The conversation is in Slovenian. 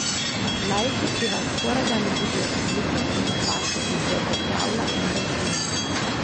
Laiki pri vas skorajda ne vidijo razlike med vašo izvedbo kravla in delfina.